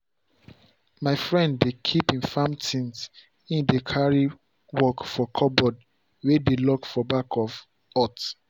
my friend dey keep him farm things him dey carry work for cupboard way dey lock for back of hut.